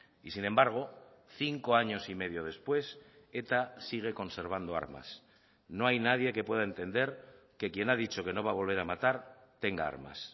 y sin embargo cinco años y medio después eta sigue conservando armas no hay nadie que pueda entender que quién ha dicho que no va a volver a matar tenga armas